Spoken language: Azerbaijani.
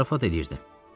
Mən zarafat eləyirdim.